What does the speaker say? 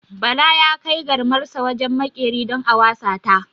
Bala ya kai garmarsa wajen maƙeri don a wasa ta.